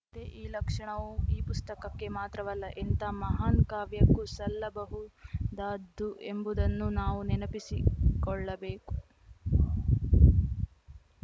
ತ್ತೆ ಈ ಲಕ್ಷಣವು ಈ ಪುಸ್ತಕಕ್ಕೆ ಮಾತ್ರವಲ್ಲ ಎಂಥಾ ಮಹಾನ್‌ ಕಾವ್ಯಕ್ಕೂ ಸಲ್ಲಬಹುದಾದ್ದು ಎಂಬುದನ್ನೂ ನಾವು ನೆನಪಿಸಿಕೊಳ್ಳಬೇಕು